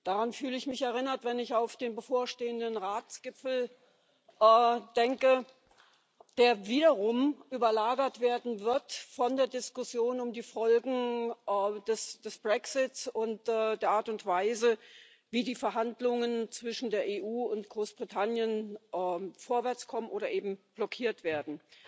Daran fühle ich mich erinnert, wenn ich an den bevorstehenden Ratsgipfel denke, der wiederum überlagert werden wird von der Diskussion um die Folgen des Brexit und der Art und Weise, wie die Verhandlungen zwischen der EU und Großbritannien vorwärtskommen oder eben blockiert werden.